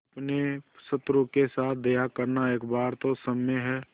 अपने शत्रु के साथ दया करना एक बार तो क्षम्य है